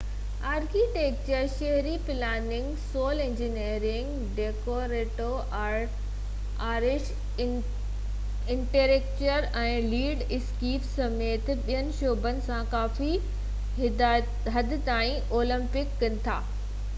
architecture شهري planning civil engineering decorative arts interior design ۽ landscape سميت ٻين شعبن سان ڪافي حد تائين اوورليپ ڪن ٿا